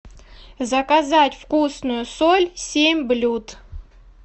заказать вкусную соль семь блюд